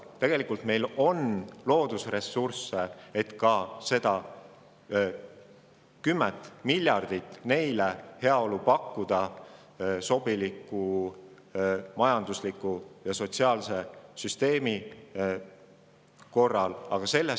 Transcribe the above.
Tegelikult on meil loodusressursse selleks, et ka kümnele miljardile inimesele sobiliku majandusliku ja sotsiaalse süsteemi korral heaolu pakkuda.